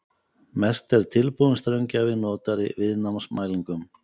Mest er tilbúinn straumgjafi notaður í viðnámsmælingum.